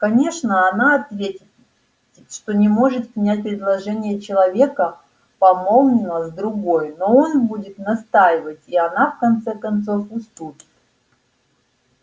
конечно она ответит что не может принять предложение человека помолвленного с другой но он будет настаивать и она в конце концов уступит